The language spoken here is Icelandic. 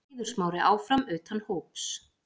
Eiður Smári áfram utan hóps